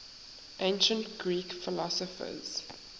ancient greek philosophers